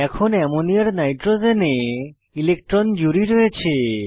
এখন অ্যামোনিয়ার nitrogen electron জুড়ি রয়েছে